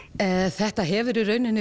þetta hefur í rauninni